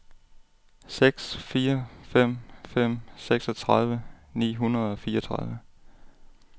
seks fire fem fem seksogtredive ni hundrede og fireogtredive